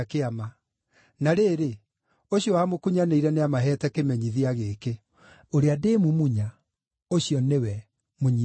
Na rĩrĩ, ũcio wamũkunyanĩire nĩamaheete kĩmenyithia gĩkĩ: “Ũrĩa ndĩmumunya, ũcio nĩwe, mũnyiitei.”